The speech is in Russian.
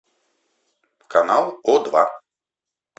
канал о два